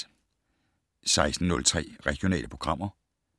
16:03: Regionale programmer